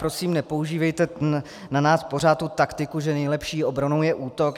Prosím, nepoužívejte na nás pořád tu taktiku, že nejlepší obranou je útok.